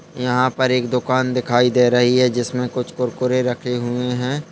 यहां पर एक दुकान दिखाई दे रही है जिसमे कुछ कुरकुरे रखे हुए हैं।